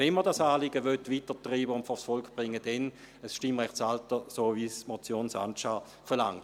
Wenn man dieses Anliegen weitertreiben und vors Volk bringen will, dann mit einem Stimmrechtsalter, wie es die Motion Sancar verlangt.